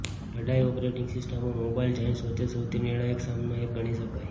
લડાઈ ઓપરેટીંગ સિસ્ટમો mobile giants વચ્ચે સૌથી નિર્ણાયક સામનો એક ગણી શકાય